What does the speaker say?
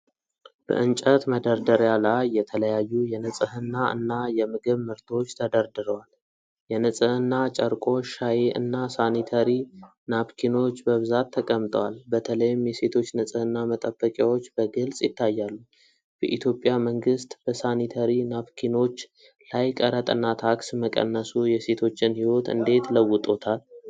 በእንጨት መደርደሪያ ላይ የተለያዩ የንጽህና እና የምግብ ምርቶች ተደርድረዋል። የንጽህና ጨርቆች፣ ሻይ እና ሳኒተሪ ናፕኪኖች በብዛት ተቀምጠዋል። በተለይም የሴቶች ንጽህና መጠበቂያዎች በግልጽ ይታያሉ። በኢትዮጵያ መንግስት በሳኒተሪ ናፕኪኖች ላይ ቀረጥና ታክስ መቀነሱ የሴቶችን ሕይወት እንዴት ለውጦታል?